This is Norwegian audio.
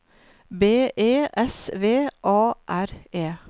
B E S V A R E